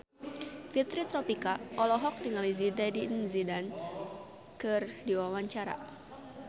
Fitri Tropika olohok ningali Zidane Zidane keur diwawancara